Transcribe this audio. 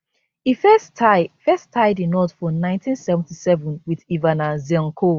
e first tie first tie di knot for 1977 wit ivana zelnkov